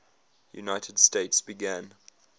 united states began